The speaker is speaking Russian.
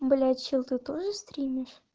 блять чел ты тоже стримишь